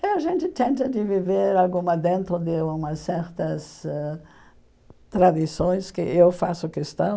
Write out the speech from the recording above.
E a gente tenta de viver alguma dentro de umas certas ãh tradições que eu faço questão.